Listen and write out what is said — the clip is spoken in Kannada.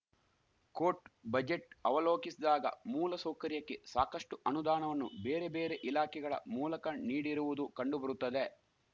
ಕೋಟ್‌ ಬಜೆಟ್‌ ಅವಲೋಕಿಸಿದಾಗ ಮೂಲ ಸೌಕರ್ಯಕ್ಕೆ ಸಾಕಷ್ಟುಅನುದಾಣವನ್ನು ಬೇರೆ ಬೇರೆ ಇಲಾಖೆಗಳ ಮೂಲಕ ನೀಡಿರುವುದು ಕಂಡುಬರುತ್ತದೆ